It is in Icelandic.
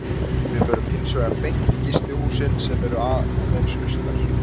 Við förum hins vegar beint í gistihúsin sem eru aðeins austar.